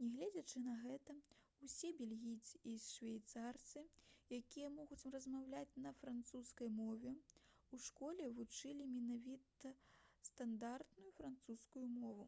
нягледзячы на гэта усе бельгійцы і швейцарцы якія могуць размаўляць на французскай мове у школе вучылі менавіта стандартную французскую мову